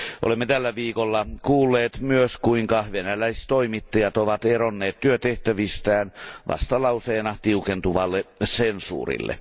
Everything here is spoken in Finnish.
Olemme tällä viikolla kuulleet myös, kuinka venäläistoimittajat ovat eronneet työtehtävistään vastalauseena tiukentuvalle sensuurille.